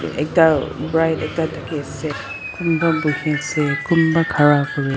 ekta bright ekta dikhiase kunba buhiase kunba khara kurae--